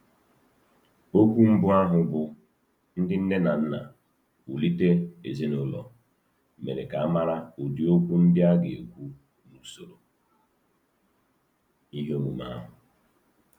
Okwu mbụ ahụ, bụ́ “Ndị Nne na Nna, Wulite Ezinụlọ,” mere ka a mara ụdị okwu ndị a ga-ekwu n’usoro ihe omume ahụ.